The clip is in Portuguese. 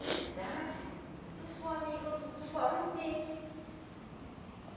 Nessa idade, eu sou amiga do dos pobrezinhos